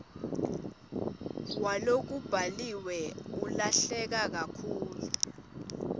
walokubhaliwe ulahleke kakhulu